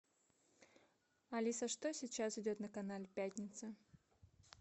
алиса что сейчас идет на канале пятница